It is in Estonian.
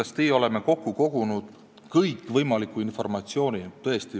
Me oleme kokku kogunud kõikvõimaliku informatsiooni.